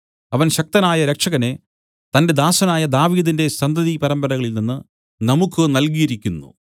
അവൻ ശക്തനായ രക്ഷകനെ തന്റെ ദാസനായ ദാവീദിന്റെ സന്തതി പരമ്പരകളിൽ നിന്നു നമുക്ക് നൽകിയിരിക്കുന്നു